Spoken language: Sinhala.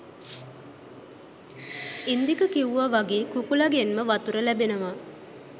ඉන්දික කිව්වා වගේ කුකුළා ගෙන්ම වතුර ලැබෙනවා